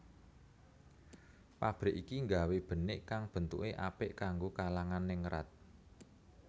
Pabrik iki nggawé benik kang bentuke apik kanggo kalangan ningrat